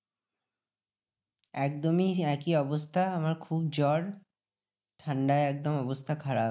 একদমই একই অবস্থা আমার খুব জ্বর। ঠান্ডায় একদম অবস্থা খারাপ।